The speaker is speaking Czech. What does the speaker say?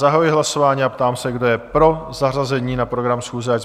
Zahajuji hlasování a ptám se, kdo je pro zařazení na program schůze?